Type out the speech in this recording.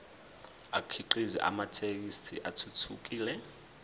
akhiqize amathekisthi athuthukile